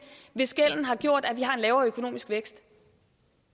hvis gælden har gjort at vi har en lavere økonomisk vækst